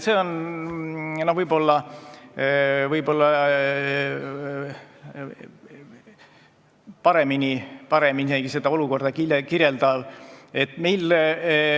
See kirjeldab seda olukorda võib-olla isegi paremini.